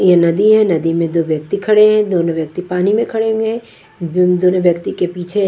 यह नदी है नदी में दो व्यक्ति खड़े हैं दोनों व्यक्ति पानी में खड़े हुए हैं दोनों व्यक्ति के पीछे--